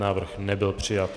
Návrh nebyl přijat.